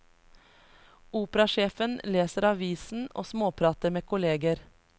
Operasjefen leser avisen og småprater med kolleger.